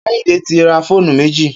Kehinde ti rà fónú méji